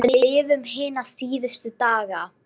Við lifum hina síðustu daga.